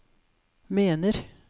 mener